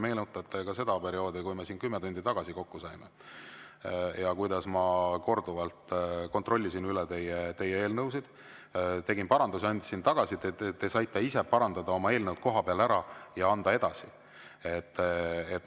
Meenutage seda aega, kui me siin kümme tundi tagasi kokku saime ja kuidas ma korduvalt kontrollisin üle teie eelnõud, tegin parandusi, andsin tagasi, te saite ise parandada oma eelnõud kohapeal ära ja anda edasi.